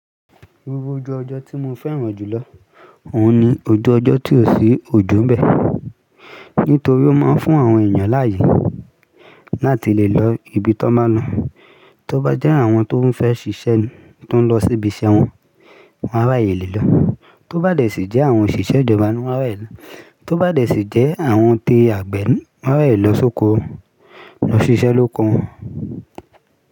Gbogbo ojú ọjọ́ tí mo fẹ́ràn jùlọ òun ni ojú ọjọ́ tí ò sí ojo ń bẹ. Nítorí ó máa ń fún àwọn èèyàn láàyè láti lè lọ ibi tó máa lọ. Tó bá jẹ́ àwọn tó fẹ́ ṣiṣẹ́ ni, tó ń lọ síbi iṣẹ́ wọn, wọ́n á ràyè lè lọ. Tí ó bá dẹ̀ sí jẹ́ àwọn òṣìṣẹ́ ìjọba ni wọ́n á ràyè lọ. Tí ó bá dẹ̀ sí jẹ́ àwọn ti àgbẹ̀ ni wọ́n á rà yè lọ sóko wọn, lọ ṣiṣẹ́ lóko wọn.